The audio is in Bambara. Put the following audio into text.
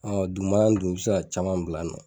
Ɔn dugumana in dun , i bi se ka caman bila nɔ.